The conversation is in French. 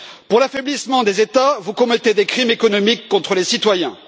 Pour l'affaiblissement des États, vous commettez des crimes économiques contre les citoyens.